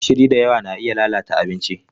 Gishiri da yawa na iya lalata abinci.